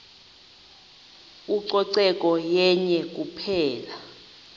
ucoceko yenye kuphela